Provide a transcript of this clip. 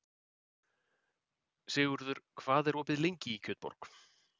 Sigurður, hvað er opið lengi í Kjötborg?